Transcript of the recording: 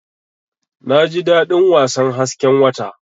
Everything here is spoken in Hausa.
Naji dadin wasan hasken wata.